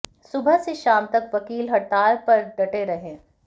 सुबह से शाम तक वकील हड़ताल पर डटे रहे